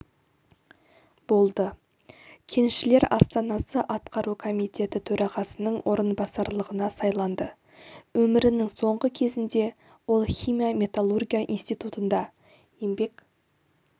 болды кеншілер астанасы атқару комитеті төрағасының орынбасарлығына сайланды өмірінің соңғы кезінде ол химия-металлургия институтында еңбек